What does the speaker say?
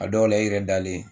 A dɔw la i yɛrɛ dalen.